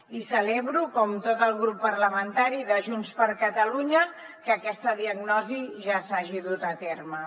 i celebro com tot el grup parlamentari de junts per catalunya que aquesta diagnosi ja s’hagi dut a terme